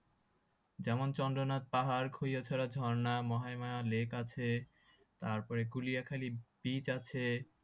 যেমন চন্দ্রনাথ পাহাড় খৈয়াছাড়া ঝর্ণা মহায়মায়া lake আছে তারপর কুলিয়াখালী beach আছে